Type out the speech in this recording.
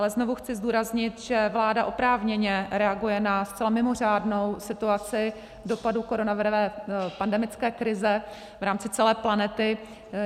Ale znovu chci zdůraznit, že vláda oprávněně reaguje na zcela mimořádnou situaci dopadů koronavirové pandemické krize v rámci celé planety.